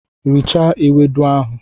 Richaa ewedu ahụ!